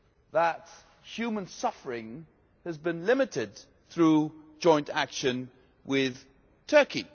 that human suffering has been limited through joint action with Turkey.